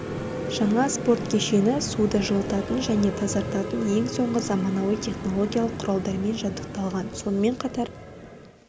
жаңа спорт кешені суды жылытатын және тазартатын ең соңғы заманауи технологиялық құралдармен жабдықталған сонымен қатар